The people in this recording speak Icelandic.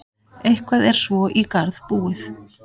Eitthvað er svo í garð búið